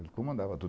Ele comandava tudo.